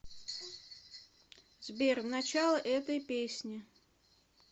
сбер в начало этой песни